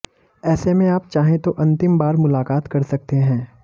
ऐसे में आप चाहें तो अंतिम बार मुलाकात कर सकते हैं